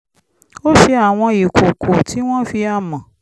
ó ṣe àwọn ìkòkò tí wọ́n fi amọ̀